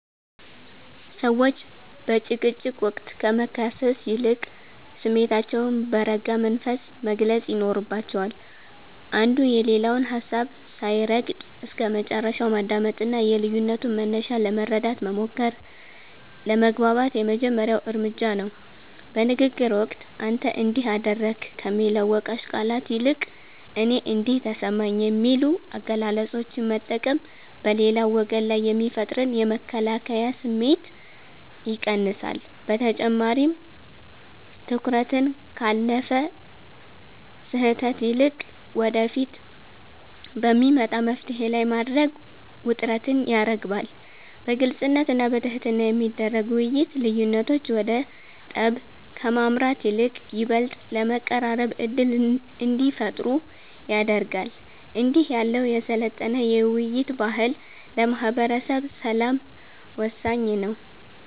ሰዎች በጭቅጭቅ ወቅት ከመካሰስ ይልቅ ስሜታቸውን በረጋ መንፈስ መግለጽ ይኖርባቸዋል። አንዱ የሌላውን ሀሳብ ሳይረግጥ እስከመጨረሻው ማዳመጥና የልዩነቱን መነሻ ለመረዳት መሞከር ለመግባባት የመጀመሪያው እርምጃ ነው። በንግግር ወቅት "አንተ እንዲህ አደረግክ" ከሚሉ ወቃሽ ቃላት ይልቅ "እኔ እንዲህ ተሰማኝ" የሚሉ አገላለጾችን መጠቀም በሌላው ወገን ላይ የሚፈጠርን የመከላከያ ስሜት ይቀንሳል። በተጨማሪም፣ ትኩረትን ካለፈ ስህተት ይልቅ ወደፊት በሚመጣ መፍትሔ ላይ ማድረግ ውጥረትን ያረግባል። በግልጽነትና በትህትና የሚደረግ ውይይት፣ ልዩነቶች ወደ ጠብ ከማምራት ይልቅ ይበልጥ ለመቀራረብ ዕድል እንዲፈጥሩ ያደርጋል። እንዲህ ያለው የሰለጠነ የውይይት ባህል ለማህበረሰብ ሰላም ወሳኝ ነው።